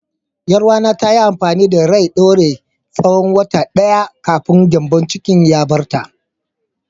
Yar uwata ta yi amfani da rai ɗaure tsawon wata ɗaya kafin gyambon cikin ya bar ta.